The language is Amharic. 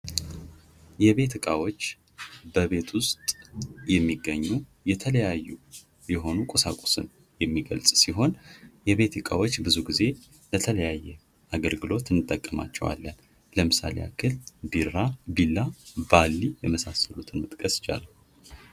የቤት እቃዎች በቤት ውስጥ የሚገኙ የተለያዩ የሆኑ ቁሳቁስ የሚገልፅ ሲሆን የቤት እቃዎች ብዙ ግዜ ለተለያየ አገልግሎት እንጠቀምባቸዋለን። ለምሳሌ ያክል ቢላ፥ ባሊ የመሳሰሉትን መጥቀስ ይቻላል።